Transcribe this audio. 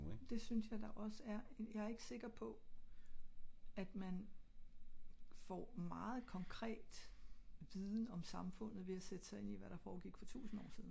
men det synes jeg da ogs er jeg er ikke sikker på at man får meget konkret viden om samfundet ved at sætte sig ind i hvad der foregik for tusind år siden